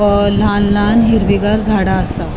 हा लान लान हिरविगार झाड़ा असा.